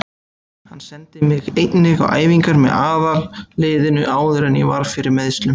Hann sendi mig einnig á æfingar með aðalliðinu áður en ég varð fyrir meiðslum.